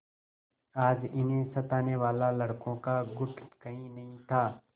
आज उन्हें सताने वाला लड़कों का गुट कहीं नहीं था